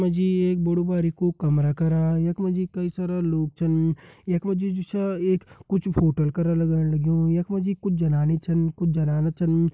यख मां जि एक बडु भारी कु कमरा करा यख मां जी कई सारा लोग चन यखमां जि जु छ एक कुछ होटल करा करण लग्यूं यख मां जि कुछ जनानी छन कुछ जनाना छन।